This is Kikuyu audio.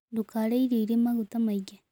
Ndũkarĩe irio ĩrĩ magũta maĩngĩ